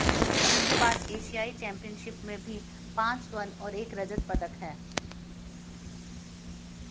उनके नाम एशियाई चैम्पियनशिप में भी पांच स्वर्ण और एक रजत पदक हैं